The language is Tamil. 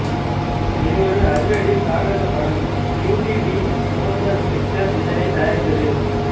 இது ஒரு அதிரடி சாகசப் படம் U T V motion pictures இதனை தயாரித்தது